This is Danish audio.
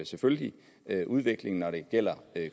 selvfølgelig udviklingen når det gælder